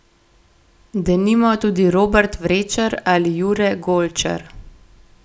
Denimo tudi Robert Vrečer ali Jure Golčer.